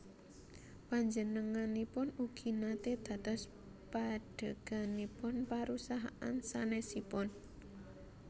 Panjenenganipun ugi naté dados pandheganipun parusahaan sanèsipun